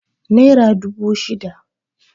naira dubu shida